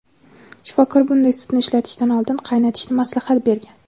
shifokor bunday sutni ishlatishdan oldin qaynatishni maslahat bergan.